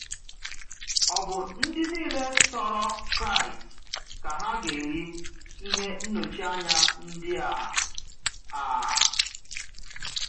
Ò bụ ndị niile sọrọ Kraịst ka ha gà-eri ihe nnọchianya ndị a? a?